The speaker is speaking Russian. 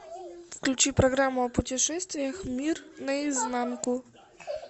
включи программу о путешествиях мир наизнанку